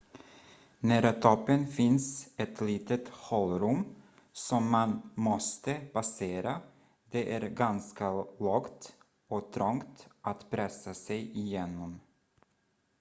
nära toppen finns ett litet hålrum som man måste passera det är ganska lågt och trångt att pressa sig igenom